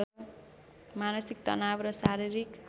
मानसिक तनाव र शारीरिक